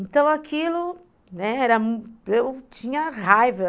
Então, aquilo, né, era, eu tinha raiva.